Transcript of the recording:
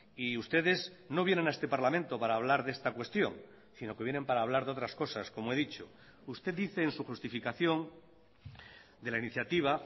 y ustedes no vienen a este parlamento para hablar de esta cuestión sino que vienen para hablar de otras cosas como he dicho usted dice en su justificación de la iniciativa